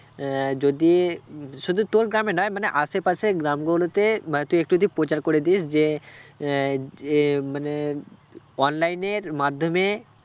আহ যদি উম শুধু তোর গ্রামে নয় মানে আশেপাশের গ্রামগুলো তে মানে তুই একটু যদি প্রচার করে দিস যে আহ যে মানে online র মাধ্যমে